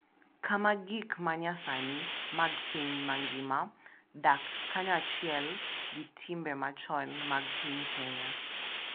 Kama gik ma nyasani mag piny mangima dak kanyachiel gi timbe machon mag piny Kenya